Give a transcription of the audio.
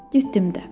Getdim də.